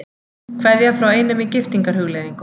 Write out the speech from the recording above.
Kveðja frá einum í giftingarhugleiðingum.